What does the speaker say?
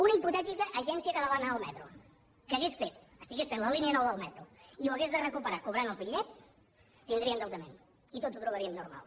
una hipotètica agència catalana del metro que estigués fent la línia nou del metro i ho hagués de recuperar cobrant els bitllets tindria endeutament i tots ho trobaríem normal